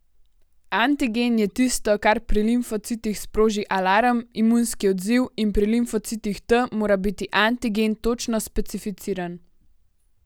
Antigen je tisto, kar pri limfocitih sproži alarm, imunski odziv, in pri limfocitih T mora biti antigen točno specificiran.